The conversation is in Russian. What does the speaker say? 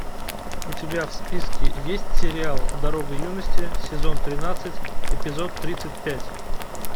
у тебя в списке есть сериал дорога юности сезон тринадцать эпизод тридцать пять